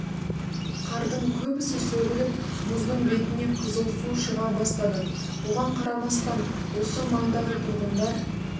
қардың көбесі сөгіліп мұздың бетіне қызыл су шыға бастады оған қарамастан осы маңдағы тұрғындар